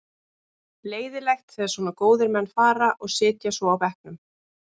Leiðinlegt þegar svona góðir menn fara og sitja svo á bekknum.